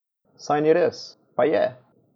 Saj ni res, pa je!